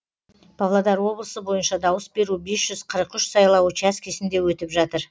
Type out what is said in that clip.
павлодар облысы бойынша дауыс беру бес жүз қырық үш сайлау учаскісінде өтіп жатыр